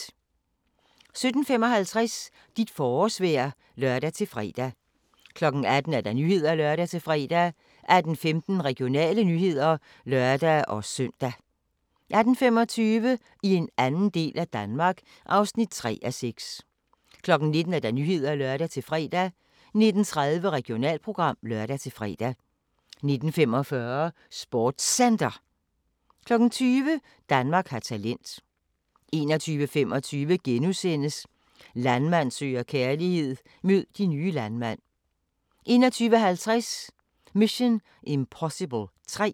17:55: Dit forårsvejr (lør-fre) 18:00: Nyhederne (lør-fre) 18:15: Regionale nyheder (lør-søn) 18:25: I en anden del af Danmark (3:6) 19:00: Nyhederne (lør-fre) 19:30: Regionalprogram (lør-fre) 19:45: SportsCenter 20:00: Danmark har talent 21:25: Landmand søger kærlighed - mød de nye landmænd * 21:50: Mission: Impossible 3